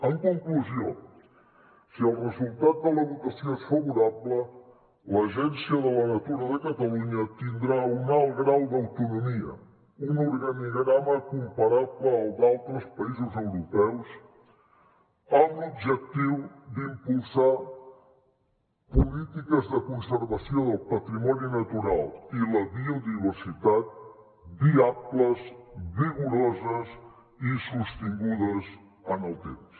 en conclusió si el resultat de la votació és favorable l’agència de la natura de catalunya tindrà un alt grau d’autonomia un organigrama comparable al d’altres països europeus amb l’objectiu d’impulsar polítiques de conservació del patrimoni natural i la biodiversitat viables vigoroses i sostingudes en el temps